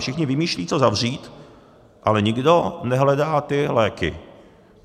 Všichni vymýšlejí, co zavřít, ale nikdo nehledá ty léky.